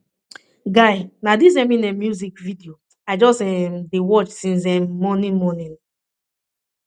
guy na dis eminem music video i just um dey watch since um morning morning